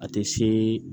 A tɛ se